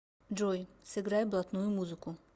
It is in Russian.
джой сыграй блатную музыку